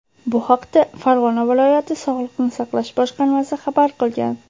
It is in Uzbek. Bu haqda Farg‘ona viloyati sog‘liqni saqlash boshqarmasi xabar qilgan .